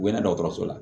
U bɛ na dɔgɔtɔrɔso la